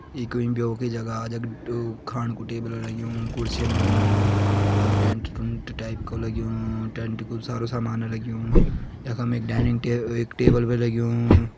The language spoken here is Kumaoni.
ईं कहीं ब्यो की जगह जख ऊं-खाणु कु टेबल लग्युं कुर्सीन लगीं और टेंट टुंट टाइप को लग्युं टेंट कु सारा सामान लग्युं यखम एक डाइनिंग -एक टेबल भी लग्युं।